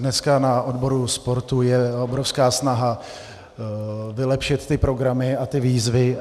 Dneska na odboru sportu je obrovská snaha vylepšit ty programy a ty výzvy.